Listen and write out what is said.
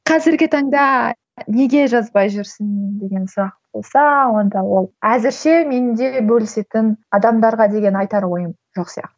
қазіргі таңда неге жазбай жүрсің деген сұрақ болса онда ол әзірше менде бөлісетін адамдарға деген айтар ойым жоқ сияқты